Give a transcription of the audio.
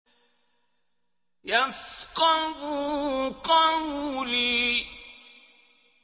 يَفْقَهُوا قَوْلِي